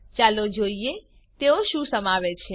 ચાલો જોઈએ તેઓ શું સમાવે છે